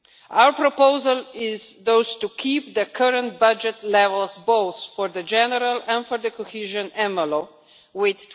Our proposal is thus to keep the current budget levels both for the general and for the cohesion envelope with